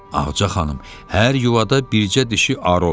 Ağca xanım, hər yuvada bircə dişi arı olar.